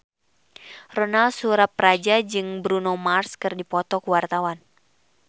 Ronal Surapradja jeung Bruno Mars keur dipoto ku wartawan